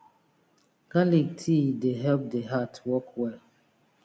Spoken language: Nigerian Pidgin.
garlic tea dey help the heart work well